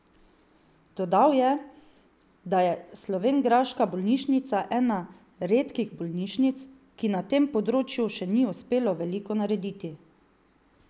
Dodal je, da je slovenjgraška bolnišnica ena redkih bolnišnic, ki ji na tem področju še ni uspelo veliko narediti.